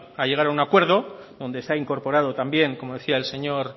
a llegar a un acuerdo donde se ha incorporado también como decía el señor